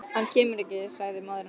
Hann kemur ekki, sagði móðir hennar.